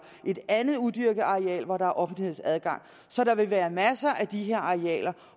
et andet udyrket areal hvor der er offentlig adgang så der vil være masser af de her arealer